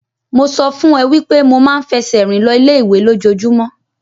Mo sọ fún ẹ wípé mo máa ń fẹsẹ̀ rìn lọ ilé ìwé lójojúmọ́.